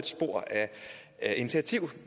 spor af initiativer